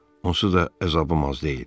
Onsuz da əzabım az deyil.